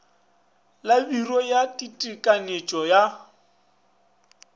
la biro ya ditekanyetšo ya